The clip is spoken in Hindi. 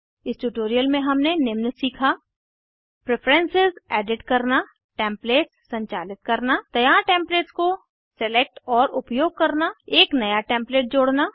इस ट्यूटोरियल में हमने निम्न सीखा प्रेफरेन्सेस एडिट करना टेम्पलेट्स संचालित करना तैयार टेम्पलेट्स को सेलेक्ट और उपयोग करना एक नया टेम्पलेट जोड़ना